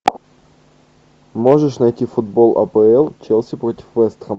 можешь найти футбол апл челси против вест хэм